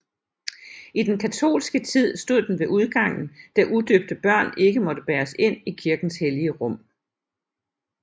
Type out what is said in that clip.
I den katolske tid stod den ved udgangen da udøbte børn ikke måtte bæres ind i kirkens hellige rum